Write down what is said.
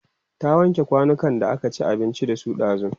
ta wanke kwanukan da aka ci abinci da su ɗazun?